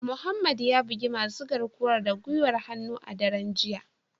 Mohammed ya bugi masu garkuwar da gwiwar hannu a daren jiya